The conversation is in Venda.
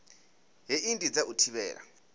hei ndi dza u thivhela